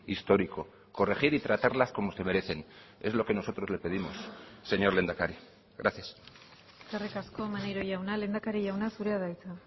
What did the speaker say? histórico corregir y tratarlas como se merecen es lo que nosotros le pedimos señor lehendakari gracias eskerrik asko maneiro jauna lehendakari jauna zurea da hitza